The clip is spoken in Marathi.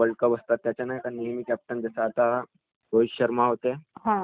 पाकीस्तानसोबत जी मॅचमध्ये नाही का त्याने चांगला प्रदर्शन केला होतो